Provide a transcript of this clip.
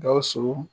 Gawusu